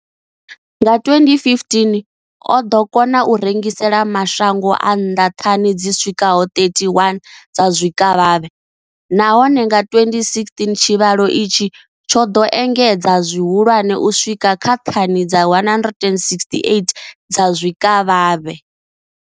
Nga 2015, o ḓo kona u rengisela mashango a nnḓa thani dzi swikaho 31 dza zwikavhavhe, nahone nga 2016 tshivhalo itshi tsho ḓo engedzea zwihulwane u swika kha thani dza 168 dza zwikavhavhe.